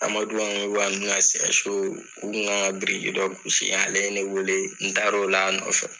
Amadu ka u ka kan biriki dɔ gosi ale ne weele n taara o la yen nɔ.